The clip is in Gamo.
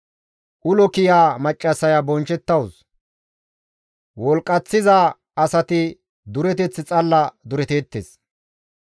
Ulo kiya maccassaya bonchchettawus; wolqqaththiza asati dureteth xalla duretteettes.